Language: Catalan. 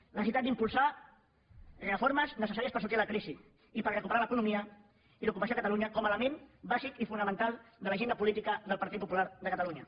la necessitat d’impulsar reformes necessàries per sortir de la crisi i per recuperar l’economia i l’ocupació a catalunya com a element bàsic i fonamental de l’agenda política del partit popular de catalunya